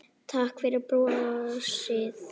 Takk fyrir brosið.